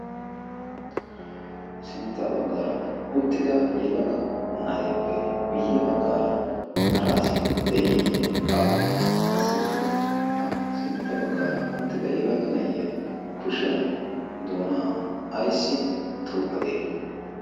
sintta baggaara uttida yelaga na7eeppe guyye baggaara hara asi de7iiyye baawe? qassikka ha sintta baggaara uttida yelaga na7iya kushiyan doonaa aissi tuuqadee?